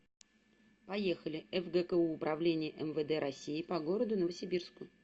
поехали фгку управление мвд россии по городу новосибирску